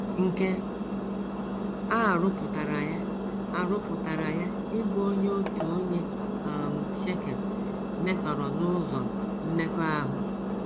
Nke a rụpụtara ya a rụpụtara ya ịbụ onye otu onye um Shekem metọrọ n’ụzọ mmekọahụ.